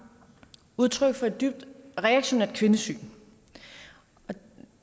udtryk for et dybt reaktionært kvindesyn